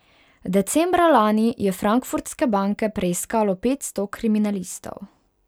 Decembra lani je frankfurtske banke preiskalo petsto kriminalistov.